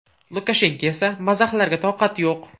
Lukashenko esa mazaxlarga toqati yo‘q.